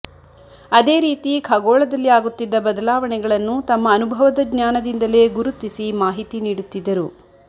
ಅದೇ ರೀತಿ ಖಗೋಳದಲ್ಲಿ ಆಗುತ್ತಿದ್ದ ಬದಲಾವಣೆಗಳನ್ನು ತಮ್ಮ ಅನುಭವದ ಜ್ಞಾನದಿಂದಲೇ ಗುರುತಿಸಿ ಮಾಹಿತಿ ನೀಡುತ್ತಿದ್ದರು